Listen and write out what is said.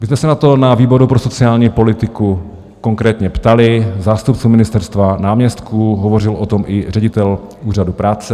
My jsme se na to na výboru pro sociální politiku konkrétně ptali zástupců ministerstva, náměstků, hovořil o tom i ředitel Úřadu práce.